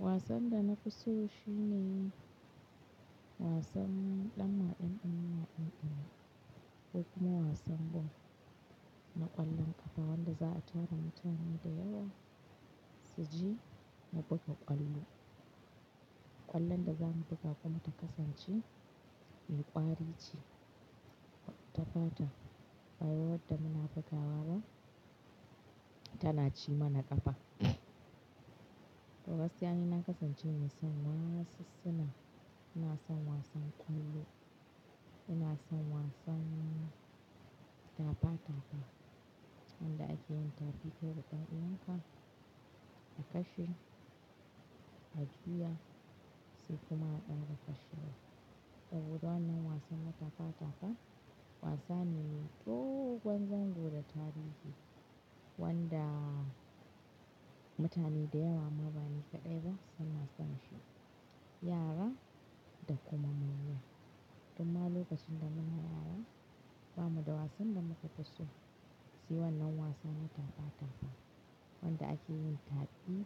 Wasan da na fi so shine wasan ɗan maɗanin ma'aƙa, ko kuma wasan ball na ƙwallon ƙafa wanda za a tara mutane da yawa su ji na buga ƙwallo. Ƙwallon da za mu buga kuma ta kasance mai ƙwari ce, ta fata. Ba wadda muna bugawa ba tana ci mana ƙafa. To gaskiya na kasance mai son wassunan, ina son wasan ƙwallo, ina son wasan tafa-tafa wanda ake yin taɓi ko da ɗaya ka, ka kashe, ka juya sai kuma aka kashewa. Saboda wannan wasan na tafa-tafa wasanni ne dogan zango da tarihi wanda mutane da yawa mabani kaɗai ba suna son shi, yara da kuma manya. Kuma lokacin da muna yara bamu da wasan da muka fi so si wannan wasan na tafa-tafa wanda ake yin taɓi